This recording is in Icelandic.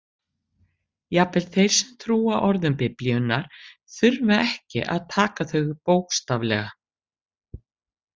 Jafnvel þeir sem trúa orðum Biblíunnar þurfa ekki að taka þau bókstaflega.